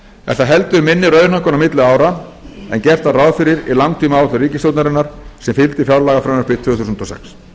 er það heldur minni raunhækkun á milli ára en gert var ráð fyrir í langtímaáætlun ríkisstjórnarinnar sem fylgdi fjárlagafrumvarpi tvö þúsund og sex